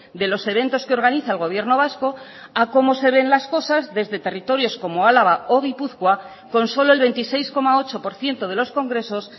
de los eventos que organiza el gobierno vasco a cómo se ven las cosas desde territorios como álava o gipuzkoa con solo el veintiséis coma ocho por ciento de los congresos